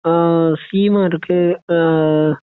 അഹ് C mark എഹ്